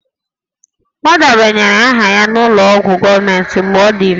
Ọ debanyere aha ya n'ụlọ ọgwụ gọọmentị mgbe ọ dị ime